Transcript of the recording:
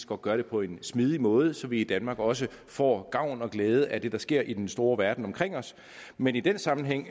godt gøre det på en smidig måde så vi i danmark også får gavn og glæde at det der sker i den store verden omkring os men i den sammenhæng